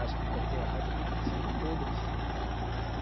Acho que em qualquer área, tem que passar por todas.